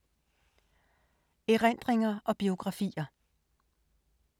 Erindringer og biografier